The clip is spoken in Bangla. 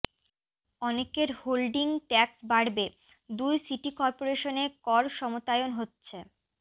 অনেকের হোল্ডিং ট্যাক্স বাড়বে দুই সিটি করপোরেশনে কর সমতায়ন হচ্ছে